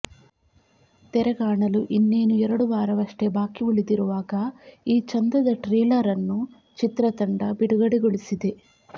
ತೆರೆಗಾಣಲು ಇನ್ನೇನು ಎರಡು ವಾರವಷ್ಟೇ ಬಾಕಿ ಉಳಿದಿರುವಾಗ ಈ ಚೆಂದದ ಟ್ರೇಲರ್ ಅನ್ನು ಚಿತ್ರತಂಡ ಬಿಡುಗಡೆಗೊಳಿಸಿದೆ